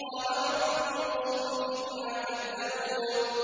قَالَ رَبِّ انصُرْنِي بِمَا كَذَّبُونِ